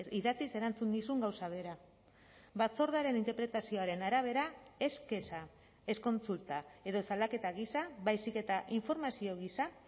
idatziz erantzun nizun gauza bera batzordearen interpretazioaren arabera ez kexa ez kontsulta edo salaketa gisa baizik eta informazio gisa